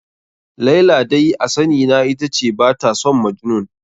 Laila dai a sani na ita ce ba ta son Majnun.